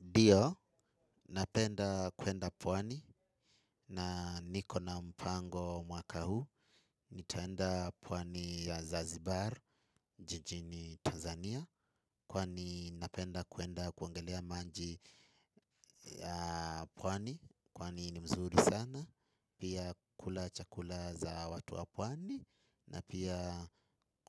Ndio, napenda kwenda pwani na niko na mpango mwaka huu. Nitaenda pwani ya Zanzibar jijini Tanzania. Kwani napenda kwenda kuogelea maji ya pwani. Kwani ni mzuri sana. Pia kula chakula za watu wa pwani. Na pia